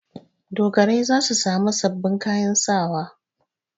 Dogarai za su sami sababbin kayan sawa.